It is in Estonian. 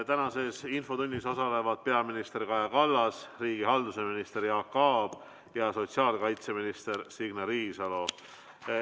Tänases infotunnis osalevad peaminister Kaja Kallas, riigihalduse minister Jaak Aab ja sotsiaalkaitseminister Signe Riisalo.